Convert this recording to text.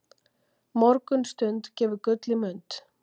Morgunstund gefur gull í mund.